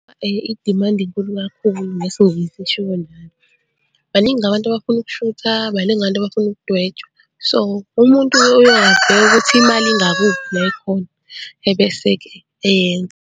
I-demand inkulu kakhulu ngesingisi kushiwo njalo. Baningi abantu abafuna ukushutha, baningi abantu abafuna ukudwetshwa. So, umuntu uye abheke ukuthi imali ingakuphi la ikhona ebese-ke eyenza.